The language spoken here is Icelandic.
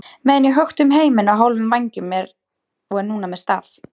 meðan ég hökti um heiminn á hálfum vængjum og er núna með staf.